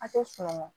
A tɛ sunɔgɔ